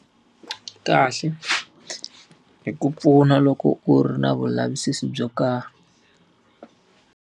Kahle, hi ku pfuna loko u ri na vulavisisi byo karhi.